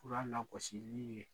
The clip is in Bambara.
Kura lkɔsi n'u ye.